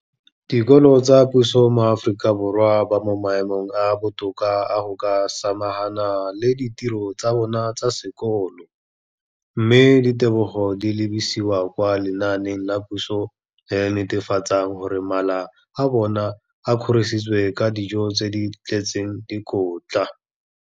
Dikolo tsa puso mo Aforika Borwa ba mo maemong a a botoka a go ka samagana le ditiro tsa bona tsa sekolo, mme ditebogo di lebisiwa kwa lenaaneng la puso le le netefatsang gore mala a bona a kgorisitswe ka dijo tse di tletseng dikotla.